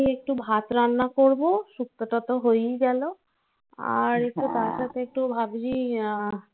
আর আমি এমনি একটু ভাত রান্না করবো. শুক্তো টা তো হয়েই গেলো আর একটু তার সাথে একটু ভাবছি